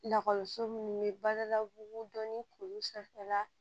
Lakɔliso minnu bɛ bala bugu dɔnni k'olu sanfɛla